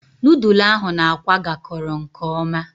Nudulu ahu na-akwa gakoro nke oma